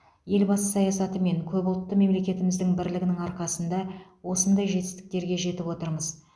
елбасы саясаты мен көпұлтты мемлекетіміздің бірлігінің арқасында осындай жетістіктерге жетіп отырмыз